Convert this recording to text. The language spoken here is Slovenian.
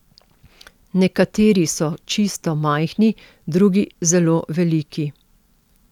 Nekateri so čisto majhni, drugi zelo veliki.